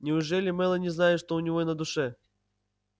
неужели мелани знает что у него на душе